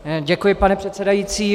Děkuji, pane předsedající.